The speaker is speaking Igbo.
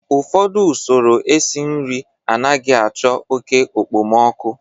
ụfọdụ usoro esi nri anaghị achọ oke okpomọkụ